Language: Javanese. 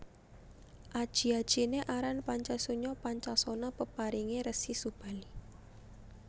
Aji ajiné aran Pancasunya Pancasona peparingé Resi Subali